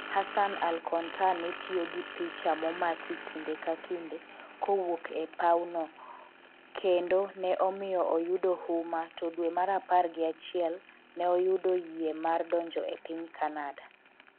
Hassan al Kontar ne tiyo gi picha momaki kinde ka kinde kowuok e paw no kendo ne omiyo oyudo huma to dwe mar apar gi achiel ne oyudo yie mar donjo e piny Canada